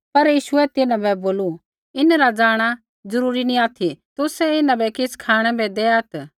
पर यीशुऐ तिन्हां बै बोलू इन्हरा जाँणा ज़रूरी नी ऑथि तुसै इन्हां बै किछ़ खाँणै बै दैआत्